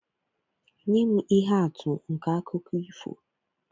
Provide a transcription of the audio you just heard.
Nye m ihe atụ nke akụkọ ifo